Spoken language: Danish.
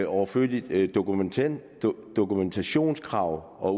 overflødige dokumentationskrav dokumentationskrav og